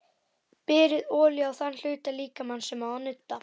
Berið olíu á þann hluta líkamans sem á að nudda.